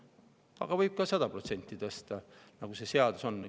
Aga võib ka 100% tõsta, nagu seaduses on.